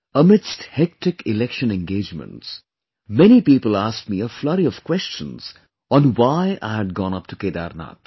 Amidst hectic Election engagements, many people asked me a flurry of questions on why I had gone up to Kedarnath